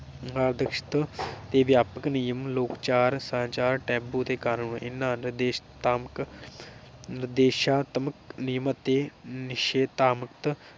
ਆਕਰਸ਼ਕ ਤੇ ਵਿਆਪਕ ਨਿਯਮ ਲੋਕ ਚਾਰ ਸਾਜਾਂ ਟੈਬੂ ਦੇ ਕਾਰਨ ਇਹਨਾਂ ਨਿਸ਼ੇਧਾਤਮ ਨੀਦੇਸ਼ਾਤਮਕ ਨਿਯਮ ਅਤੇ ਨਿਸ਼ੇਧਾਤਮ